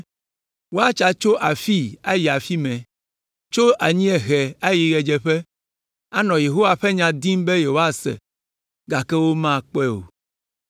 Woatsa tso afii ayi afi mɛ, tso anyiehe ayi ɣedzeƒe, anɔ Yehowa ƒe nya dim be yewoase, gake womakpɔe o.